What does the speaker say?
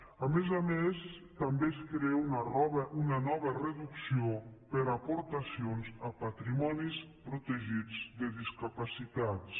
a més a més també es crea una nova reducció per aportacions a patrimonis protegits de discapacitats